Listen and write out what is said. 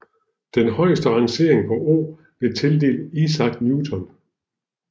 Den højeste rangering på 0 blev tildelt Isaac Newton